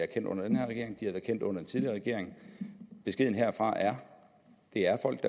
kendt under den tidligere regering beskeden herfra er det er folk